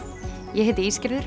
ég heiti